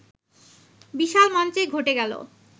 বিশাল মঞ্চেই ঘটে গেল